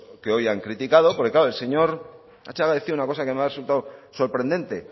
que hoy han criticado porque el señor latxaga decía una cosa que me ha resultado sorprendente